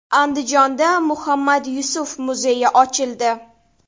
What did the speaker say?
Andijonda Muhammad Yusuf muzeyi ochildi.